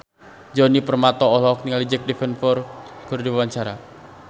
Djoni Permato olohok ningali Jack Davenport keur diwawancara